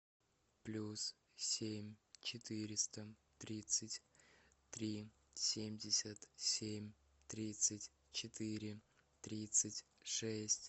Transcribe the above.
плюс семь четыреста тридцать три семьдесят семь тридцать четыре тридцать шесть